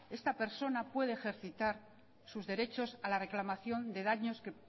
esta persona puede ejercitar sus derechos a la reclamación de daños que